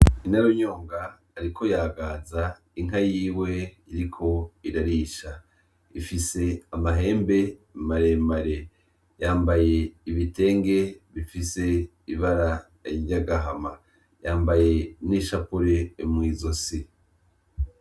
Nyinarunyonga ariko yagaza inka yiwe iriko irarisha ifise amahembe maremare yambaye ibitenge bifise ibara ry'agahama yambaye n'ishapire mu ntoke.